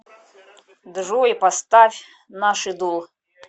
джой поставь нашидул